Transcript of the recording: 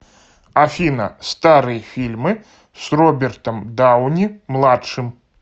афина старые фильмы с робертом дауни младшим